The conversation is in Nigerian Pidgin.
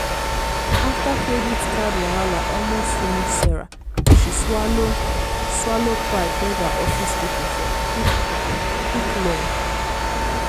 after credit card wahala almost finish sarah she swallow swallow pride beg her office people for quick-quick loan.